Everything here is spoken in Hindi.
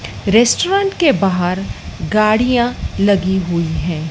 रेस्टोरेंट के बाहर गाड़ियां लगी हुई हैं।